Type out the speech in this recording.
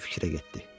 Qoca fikrə getdi.